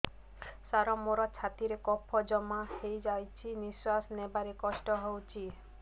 ସାର ମୋର ଛାତି ରେ କଫ ଜମା ହେଇଯାଇଛି ନିଶ୍ୱାସ ନେବାରେ କଷ୍ଟ ହଉଛି